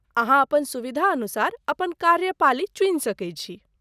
अहाँ अपन सुविधानुसार अपन कार्य पाली चुनि सकै छी।